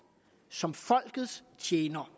som folkets tjener